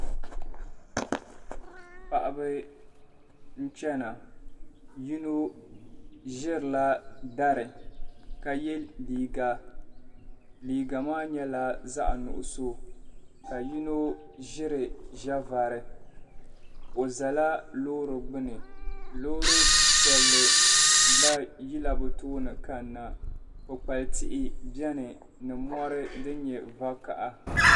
Paɣiba nchɛna yino zirila dari ka yɛ liiga liiga maa nyɛla zaɣi nuɣiso ka yino ziri zɛvari o zala loori gbuni loori piɛlli gba yila bi tooni kanna kpukpali tihi bɛni ni mori din yɛ vakaha